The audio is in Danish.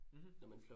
Mh